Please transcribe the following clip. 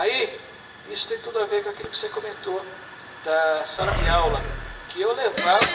Aí, isso tem tudo a ver com aquilo que você comentou da sala de aula, que eu levava...